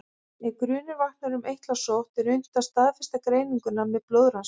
Ef grunur vaknar um eitlasótt er unnt að staðfesta greininguna með blóðrannsókn.